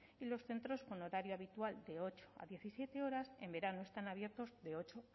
y los centros con el horario habitual de ocho a diecisiete horas en verano están abiertos de ocho